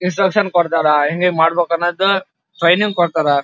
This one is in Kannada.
ಇನ್ಸ್ಟ್ರಕ್ಷನ್ ಕೊಡತ್ತರ್ ಹೆಂಗ್ ಹೆಂಗ್ ಮಾಡಬೇಕ್ ಅನ್ನೋದು ಟ್ರೈನಿಂಗ್ ಕೊಡತ್ತರ್.